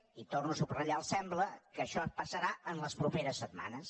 i torno a subratllar el sembla que això passarà en les properes setmanes